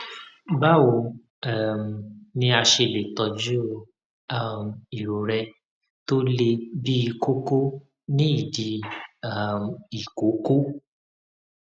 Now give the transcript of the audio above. báwo um ni a ṣe lè tọjú um irorẹ tó le bíi kókó ní ìdí um ìkókó